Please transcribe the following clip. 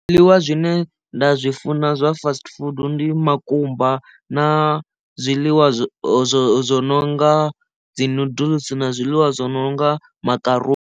Zwiḽiwa zwine nda zwi funa zwa fast food ndi makumba na zwiḽiwa zwo zwo zwo no nga dzi noodles na zwiḽiwa zwo no nga makaruni.